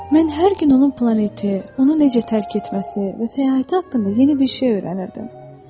Mən hər gün onun planeti, onu necə tərk etməsi və səyahəti haqqında yeni bir şey öyrənirdim.